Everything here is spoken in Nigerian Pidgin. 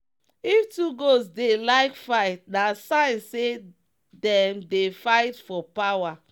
if two goats dey like fight na sign say them dey fight for power.